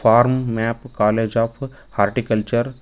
form map college of horticulture --